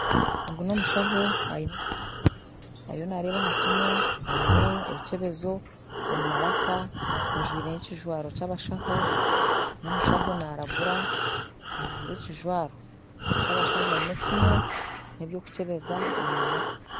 Ogu n'omushaaho ariyo naareeba aha siimu aine ebikyebezo omu maraaka ajwire n'ekijwaro ky'abashaaho, n'omushaho naaragura, ajwire ekijwaro ky'abashaho